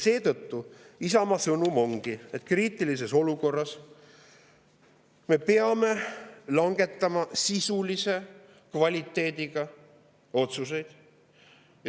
Seetõttu ongi Isamaa sõnum, et kriitilises olukorras me peame langetama sisulise kvaliteediga otsuseid.